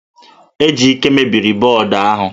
Ejike mebiri bọọdụ ahụ